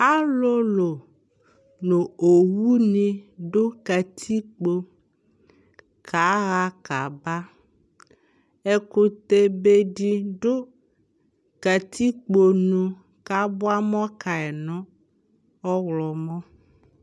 alolo no owu ni do katikpo ka ɣa ka ba ɛkutɛ be di do katikponu ko aboa amɔ kayi no ɔwlɔmɔ